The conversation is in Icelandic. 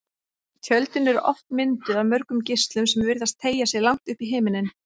Tjöldin eru oft mynduð af mörgum geislum sem virðast teygja sig langt upp í himininn.